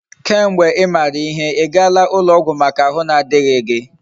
Ke mgbe imara ihe, igaala ulo ogwu Maka ahu na adighi gi?